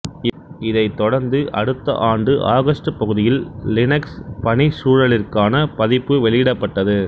இதைத்தொடர்ந்து அடுத்த ஆண்டு ஆகஸ்டு பகுதியில் லினக்ஸ் பணிச்சூழலிற்கான பதிப்பு வெளியிடப்பட்டது